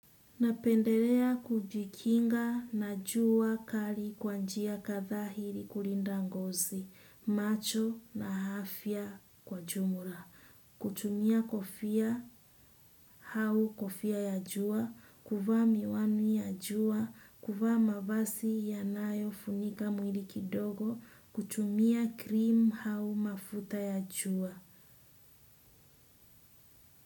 Napendelea kujikinga na jua kali kwa njia kadhaa ili kulinda ngozi, macho na afya kwa jumla. Kutumia kofia au kofia ya jua, kuvaa miwani ya jua, kuvaa mavazi yanayofunika mwili kidogo, kutumia cream au mafuta ya jua.